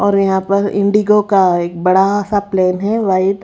और यहां पर इंडिगो का एक बड़ा सा प्लेन है वाइट --